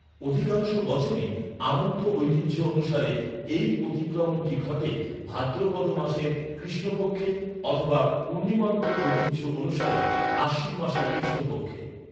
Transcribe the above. অধিকাংশ বছরই আমন্ত ঐতিহ্য অনুসারে, এই অতিক্রমণটি ঘটে, ভাদ্রপদ মাসের কৃষ্ণ পক্ষে অথবা পূর্ণিমান্ত ঐতিহ্য অনুসারে আশ্বিন মাসে কৃষ্ণ পক্ষে।